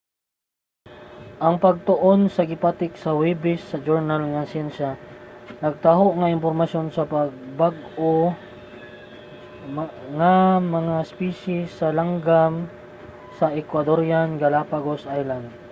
ang pagtuon nga gipatik sa huwebes sa journal nga siyensya nagtaho og impormasyon sa bag-o nga mga espisye sa langgam sa ecuadorean galápagos islands